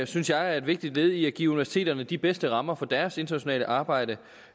synes jeg er et vigtigt led i at give universiteterne de bedste rammer for deres internationale arbejde